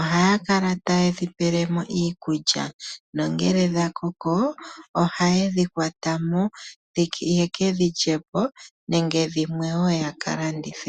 ohaya kala ta yedhi pele mo iikulya. No ngele dha koko oha yedhi kwata mo , ye kedhi lyepo nenge dhimwe wo ya ka landithe.